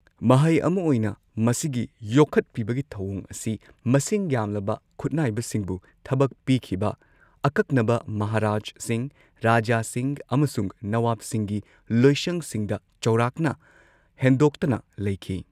ꯃꯍꯩ ꯑꯃ ꯑꯣꯏꯅ, ꯃꯁꯤꯒꯤ ꯌꯣꯛꯈꯠꯄꯤꯕꯒꯤ ꯊꯧꯑꯣꯡ ꯑꯁꯤ ꯃꯁꯤꯡ ꯌꯥꯝꯂꯕ ꯈꯨꯠꯅꯥꯏꯕꯁꯤꯡꯕꯨ ꯊꯕꯛ ꯄꯤꯈꯤꯕ ꯑꯀꯛꯅꯕ ꯃꯍꯥꯔꯥꯖꯁꯤꯡ, ꯔꯥꯖꯥꯁꯤꯡ ꯑꯃꯁꯨꯡ ꯅꯋꯥꯕꯁꯤꯡꯒꯤ ꯂꯣꯏꯁꯪꯁꯤꯡꯗ ꯆꯥꯎꯔꯥꯛꯅ ꯍꯦꯟꯗꯣꯛꯇꯅ ꯂꯩꯈꯤ꯫